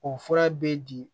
O fura bɛ di